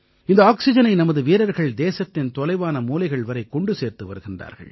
இந்த ஆக்சிஜனை நமது வீரர்கள் தேசத்தின் தொலைவான மூலைகள் வரை கொண்டு சேர்த்து வருகிறார்கள்